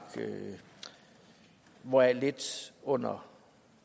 hvoraf lidt under